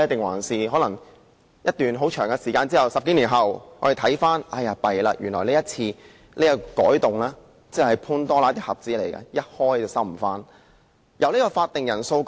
還是經過一段漫長歲月，當我們在10多年後回首才發現原來這次提出的修訂是"潘朵拉的盒子"，一打開了便無法關上？